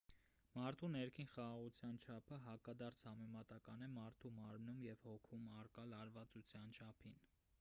մարդու ներքին խաղաղության չափը հակադարձ համեմատական է մարդու մարմնում և հոգում առկա լարվածության չափին